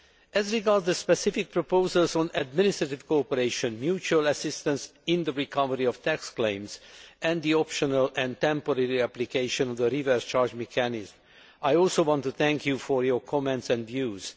As regards the specific proposals on administrative cooperation, mutual assistance in the recovery of tax claims and the optional and temporary reapplication of the reverse charge mechanism, I also want to thank you for your comments and views.